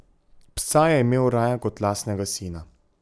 Psa je imel raje kot lastnega sina.